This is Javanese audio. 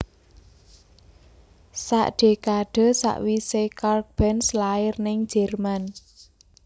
Sak dekade sakwise Karl Benz lair ning Jerman